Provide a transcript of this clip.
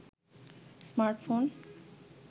smartphone